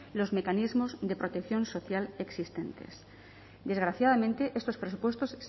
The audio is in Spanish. los mecanismos de protección social existentes desgraciadamente estos presupuestos